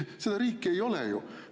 Seda riik ei ole ju.